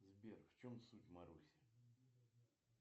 сбер в чем суть маруси